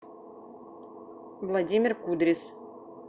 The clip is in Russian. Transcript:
владимир кудрис